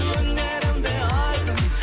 өнерім де айқын